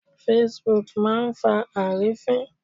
Facebook máa ń fa àrífín.